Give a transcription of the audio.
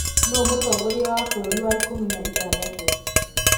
nũ mũtongoria wa mbũrũri wa ikũmi na ithathatũ